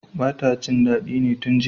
bata jin dadi ne tun jiya